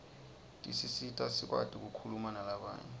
tisisita sikwati kukhuluma nalabanye